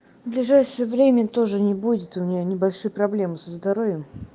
ближайшее время тоже не будет у меня небольшие проблемы со здоровьем